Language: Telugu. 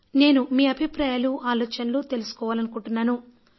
నేను మీ అభిప్రాయాలు ఆలోచనలు తెలుసుకోవాలనుకుంటున్నాను